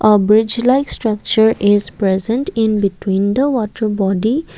a bridge like structure is present in between the water body.